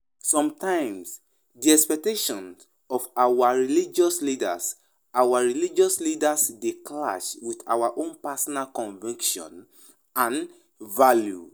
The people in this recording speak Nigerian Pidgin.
Sometimes, di expectations of our religious leaders our religious leaders dey clash with our own personal convictions and values.